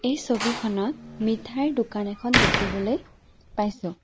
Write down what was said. এই ছবিখনত মিঠাইৰ দোকান এখন দেখিবলৈ পাইছোঁ।